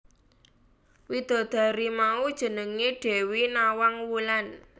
Widadari mau jenengé Dewi Nawang Wulan